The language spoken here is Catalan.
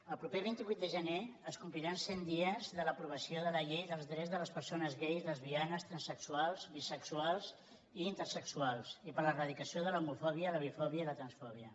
el proper vint vuit de gener es compli·ran cent dies de l’aprovació de la llei dels drets de les persones gais lesbianes transsexuals bisexuals i inter·sexuals i per l’eradicació de l’homofòbia la bifòbia i la transfòbia